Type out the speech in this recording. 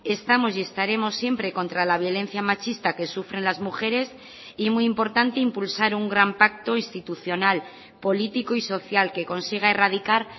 estamos y estaremos siempre contra la violencia machista que sufren las mujeres y muy importante impulsar un gran pacto institucional político y social que consiga erradicar